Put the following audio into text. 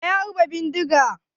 Waye ya harba bindiga?